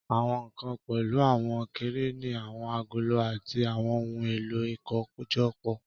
Àwọn nkan pẹ̀lú àwọn kẹ̀rẹ́nì, àwọn agolo, àti àwọn ohun èlò ìkójọpọ̀.